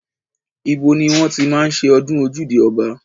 Ibo ni wọ́n ti máa ń ṣe ọdún ojúde ọba?